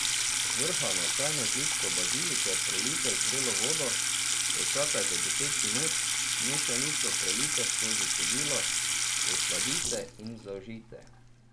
Zvrhano čajno žličko bazilike prelijte z vrelo vodo, počakajte deset minut, mešanico prelijte skozi cedilo, osladite in zaužijte.